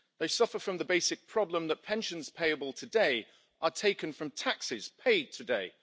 They suffer from the basic problem that pensions payable today are taken from taxes paid today.